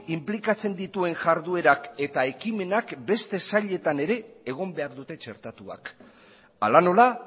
inplikatzen dituen jarduerak eta ekimenak beste sailetan ere egon behar dute txertatuak hala nola